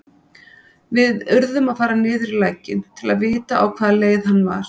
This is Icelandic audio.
Við urðum að fara niður í lækinn til að vita á hvaða leið hann var.